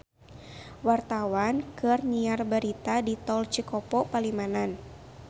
Wartawan keur nyiar berita di Tol Cikopo Palimanan